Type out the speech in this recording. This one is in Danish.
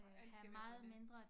Og alt skal være på dansk